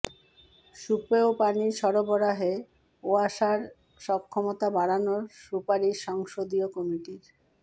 সুপেয় পানি সরবরাহে ওয়াসার সক্ষমতা বাড়ানোর সুপারিশ সংসদীয় কমিটির